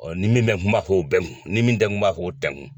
ni min mɛ n kun n m'a fɔ o bɛ n kun ni min tɛ n kun n m'a fɔ o tɛ n kun.